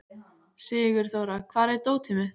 Sigurþóra, hvar er dótið mitt?